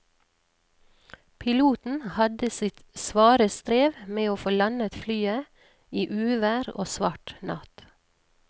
Piloten hadde sitt svare strev med å få landet flyet i uvær og svart natt.